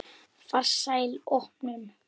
Farsæl opnun.